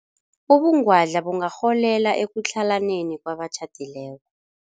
Ubungwadla bungarholela ekutlhalaneni kwabatjhadileko.